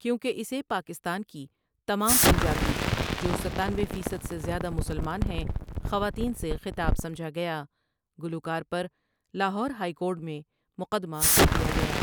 کیونکہ اسے پاکستان کی تمام پنجابی جو ستانوے فیصد سے زیادہ مسلمان ہیں خواتین سے خطاب سمجھا گیا گلوکار پر لاہور ہائی کورٹ میں مقدمہ کر دیا گیا ۔